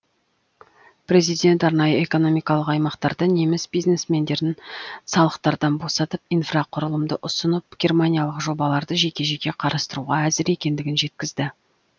президент арнайы экономикалық аймақтарда неміс бизнесмендерін салықтардан босатып инфрақұрылымды ұсынып германиялық жобаларды жеке жеке қарастыруға әзір екендігін жеткізді